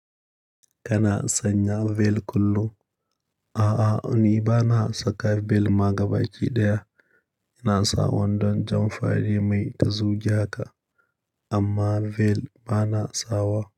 Kana sanya veil kullum? A'a, ni bana saka veil ma gaba ki ɗaya. Ina sawandon jan fa mai ta zujiya ka, amma veil bana sawa.